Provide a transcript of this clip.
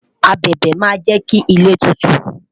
abẹbẹ ma je ki ile tutu